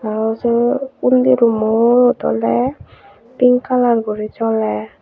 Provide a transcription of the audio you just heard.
aro sei undi rummot oley pink kalar guri joler.